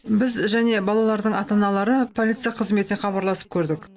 біз және балалардың ата аналары полиция қызметіне хабарласып көрдік